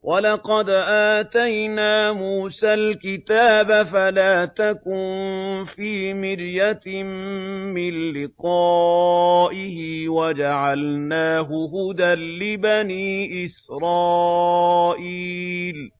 وَلَقَدْ آتَيْنَا مُوسَى الْكِتَابَ فَلَا تَكُن فِي مِرْيَةٍ مِّن لِّقَائِهِ ۖ وَجَعَلْنَاهُ هُدًى لِّبَنِي إِسْرَائِيلَ